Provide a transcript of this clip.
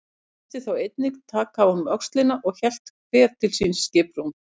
Treystist þá enginn að taka af honum öxina og hélt hver til síns skipsrúms.